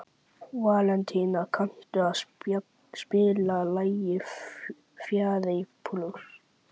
Valentína, kanntu að spila lagið „Færeyjablús“?